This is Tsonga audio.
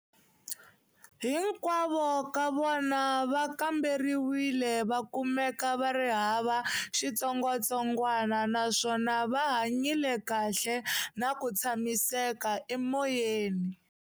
Hinkwavo ka vona va kamberiwile va kumeka va ri hava xitsongwatsongwana naswona va hanyile kahle na ku tshamiseka emoyeni.